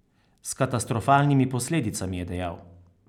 S katastrofalnimi posledicami, je dejal.